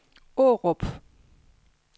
Aarup